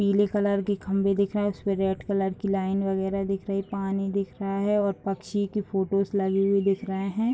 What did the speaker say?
पीले कलर की खम्भे दिख रहें हैं। इसपे रेड कलर की लाइन वगैरा दिख रही है। पानी दिख रहा है और पक्षी की फोटोज लगे हुए दिख रहें हैं।